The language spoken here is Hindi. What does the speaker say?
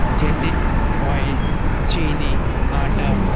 जैसे ऑयल चीनी आटा --